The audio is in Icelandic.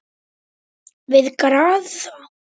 Við Garðar